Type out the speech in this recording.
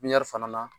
Pipiniyɛri fana na